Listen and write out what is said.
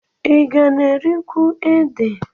Ị ga na-erikwu ede?